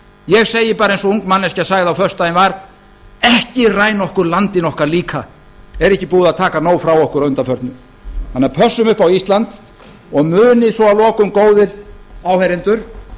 ég segi bara eins og ung manneskja sagði á föstudaginn var ekki ræna okkur landinu okkar líka er ekki búið að taka nóg frá okkur að undanförnu pössum upp á ísland og munið svo að lokum góðir áheyrendur